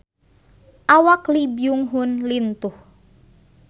Awak Lee Byung Hun lintuh